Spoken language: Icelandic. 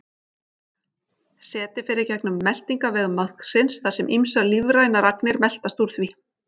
Setið fer í gegnum meltingarveg maðksins þar sem ýmsar lífrænar agnir meltast úr því.